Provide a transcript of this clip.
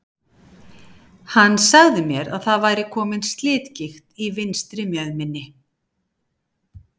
Hann sagði mér að það væri kominn slitgigt í vinstri mjöðminni.